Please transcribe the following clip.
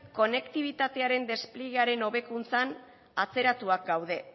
konektibitatearen despliegearen hobekuntzan atzeratuak gaude